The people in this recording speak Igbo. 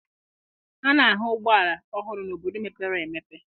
A na-ahụ ụgbọala ọhụrụ n'obodo mepere emepe.